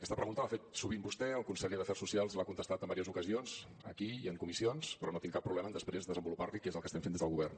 aquesta pregunta l’ha fet sovint vostè el conseller d’afers socials l’ha contestat en diverses ocasions aquí i en comissions però no tinc cap problema en després desenvolupar li què és el que estem fent des del govern